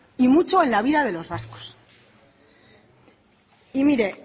y mucho en la vida de los vascos y mire